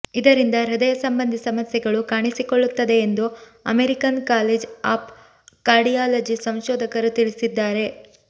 ಇದರಿಂದ ಹೃದಯ ಸಂಬಂಧಿ ಸಮಸ್ಯೆಗಳು ಕಾಣಿಸಿಕೊಳ್ಳುತ್ತದೆ ಎಂದು ಅಮೆರಿಕನ್ ಕಾಲೇಜ್ ಆಫ್ ಕಾರ್ಡಿಯಾಲಜಿ ಸಂಶೋಧಕರು ತಿಳಿಸಿದ್ದಾರೆ